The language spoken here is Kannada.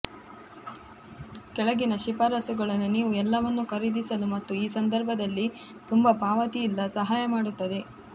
ಕೆಳಗಿನ ಶಿಫಾರಸುಗಳನ್ನು ನೀವು ಎಲ್ಲವನ್ನೂ ಖರೀದಿಸಲು ಮತ್ತು ಈ ಸಂದರ್ಭದಲ್ಲಿ ತುಂಬಾ ಪಾವತಿ ಇಲ್ಲ ಸಹಾಯ ಮಾಡುತ್ತದೆ